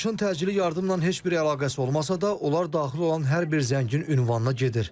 Çağırışın təcili yardım ilə heç bir əlaqəsi olmasa da, onlar daxil olan hər bir zəngin ünvanına gedir.